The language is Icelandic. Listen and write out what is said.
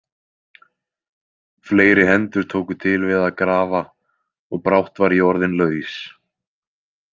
Fleiri hendur tóku til við að grafa og brátt var ég orðinn laus.